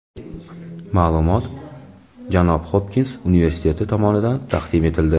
Ma’lumot Jon Hopkins universiteti tomonidan taqdim etildi.